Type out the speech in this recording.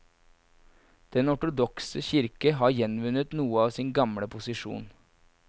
Den ortodokse kirke har gjenvunnet noe av sin gamle posisjon.